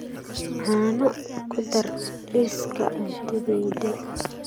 caano ku dar liiska cuntadayda